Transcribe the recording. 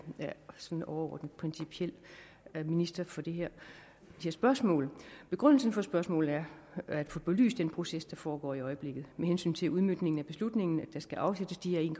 sådan overordnet principielt er minister for de her spørgsmål begrundelsen for spørgsmålene er at få belyst den proces der foregår i øjeblikket med hensyn til udmøntningen af beslutningen om at der skal afsættes de her en